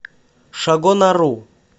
шагонару